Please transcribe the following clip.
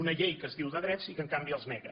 una llei que es diu de drets i que en canvi els nega